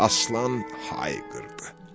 Aslan hay qırdı.